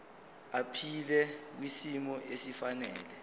aphile kwisimo esifanele